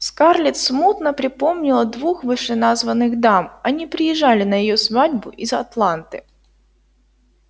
скарлетт смутно припомнила двух вышеназванных дам они приезжали на её свадьбу из атланты